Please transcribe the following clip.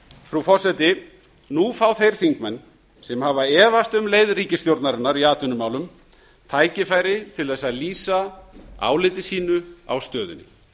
frú forseti nú fá þeir þingmenn sem hafa efast um leið ríkisstjórnarinnar í atvinnumálum tækifæri til þess að lýsa áliti sínu á stöðunni